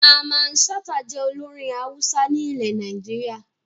Mamman Shata jẹ́ olórin Hausa ní ile Nàìjíríà